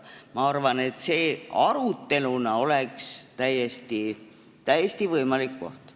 Ma arvan, et aruteluks oleks see täiesti võimalik koht.